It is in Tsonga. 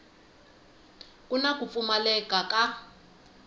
ku na ku pfumaleka ka